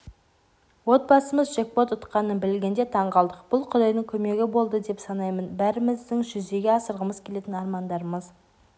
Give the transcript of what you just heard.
отбасымыз джекпот ұтқанын білгенде таңғалдық бұл құдайдың көмегі болды деп санаймын бәріміздің жүзеге асырғымыз келетін армандарымыз